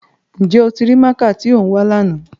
Njẹ o ti rii máaka ti o n wa làná?